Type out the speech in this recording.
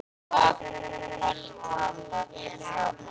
Hvaða tungumáli tala þeir saman á?